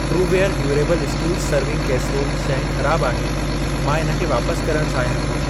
True ware durable stools serving casserole शइ ख़राब आहे, मां इन खे वापस करण चाहियां थो।